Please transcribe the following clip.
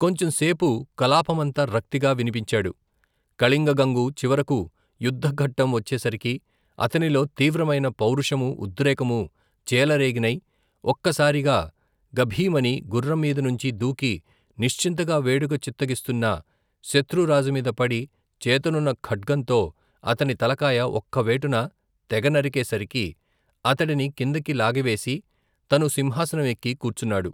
కొంచం సేపు కలాపమంతా రక్తిగా వినిపించాడు, కళింగగంగు చివరకు యుద్ద ఘట్టం వచ్చేసరికి అతనిలో తీవ్రమైన పౌరుషమూ ఉద్రేకమూ చేలరేగినై ఒక్క సారిగా గభీమని గుర్రంమీదినుంచి దూకి నిశ్చింతగా వేడుక చిత్తగిస్తున్న శత్రు రాజుమీద పడి చేతనున్న ఖడ్గంతో అతని తలకాయ ఒక్క వేటున తెగనరికే సరికి అతడిని కిందికి లాగివేసి తను సింహాసనం ఎక్కి కూర్చున్నాడు.